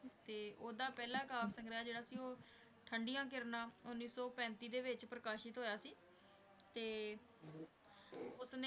ਤੇ ਉਹਦਾ ਪਹਿਲਾ ਕਾਵਿ ਸੰਗ੍ਰਹਿ ਜਿਹੜਾ ਸੀ ਉਹ ਠੰਢੀਆਂ ਕਿਰਨਾਂ, ਉੱਨੀ ਸੌ ਪੈਂਤੀ ਵਿੱਚ ਪ੍ਰਕਾਸ਼ਿਤ ਹੋਇਆ ਸੀ ਤੇ ਉਸਨੇ